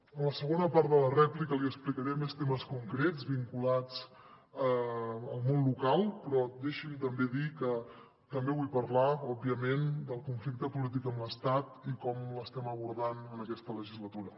en la segona part de la rèplica li explicaré més temes concrets vinculats al món local però deixi’m també dir que també vull parlar òbviament del conflicte polític amb l’estat i com l’estem abordant en aquesta legislatura